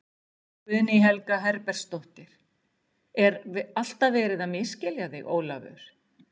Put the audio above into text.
Guðný Helga Herbertsdóttir: Er alltaf verið að misskilja þig Ólafur?